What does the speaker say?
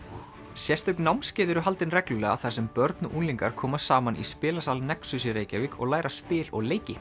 sérstök námskeið eru haldin reglulega þar sem börn og unglingar koma saman í spilasal nexus í Reykjavík og læra spil og leiki